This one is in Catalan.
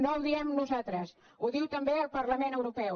no ho diem nosaltres ho diu també el parlament europeu